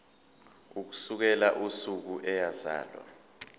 ukusukela usuku eyazalwa